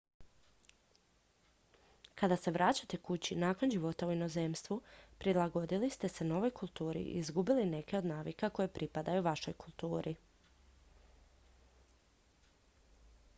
kad se vraćate kući nakon života u inozemstvu prilagodili ste se novoj kulturi i izgubili neke od navika koje pripadaju vašoj kulturi